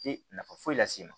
Te nafa foyi las'i ma